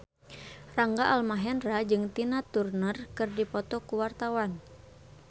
Rangga Almahendra jeung Tina Turner keur dipoto ku wartawan